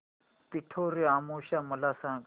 पिठोरी अमावस्या मला सांग